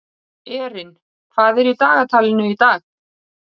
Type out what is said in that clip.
Erin, hvað er í dagatalinu í dag?